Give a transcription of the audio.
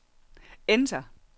enter